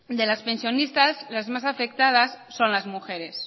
de las pensionistas las más afectadas son las mujeres